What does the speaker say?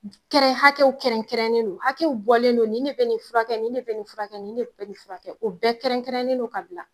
Kɛrɛn hakɛw kɛrɛn kɛrɛnen don, hakɛ bɔlen don ni ne bɛ nin furakɛ ni ne bɛ nin furakɛ ni ne bɛ nin furakɛ o bɛɛ kɛrɛn kɛrɛnen don ka bila.